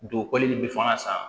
Don koli in bɛ fɔ an san